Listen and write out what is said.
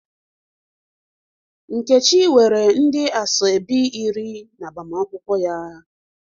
Nkechi nwere ndị asoebi iri n'agbamakwụkwọ ya.